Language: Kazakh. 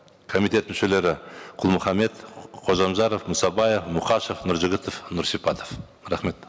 комитет мүшелері құл мұхаммед қожамжаров мұсабаев мұқашев нұржігітов нұрсипатов рахмет